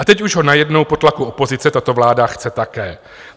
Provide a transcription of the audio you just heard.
A teď už ho najednou po tlaku opozice tato vláda chce také.